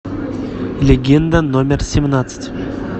легенда номер семнадцать